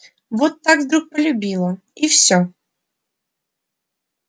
вот так вдруг полюбила и всё